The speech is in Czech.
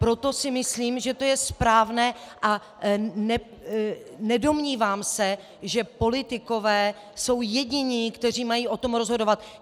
Proto si myslím, že to je správné, a nedomnívám se, že politikové jsou jediní, kteří mají o tom rozhodovat.